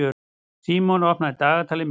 Símon, opnaðu dagatalið mitt.